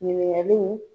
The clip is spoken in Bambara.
Ɲininkaliw